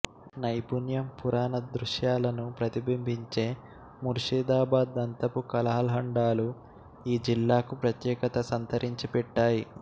నైపుణ్యం పురాణదృశ్యాలను ప్రతిబింబించే ముర్షిదాబాద్ దంతపు కళాల్హండాలు ఈ జిల్లాకు ప్రత్యేకత సంతరించి పెట్టాయి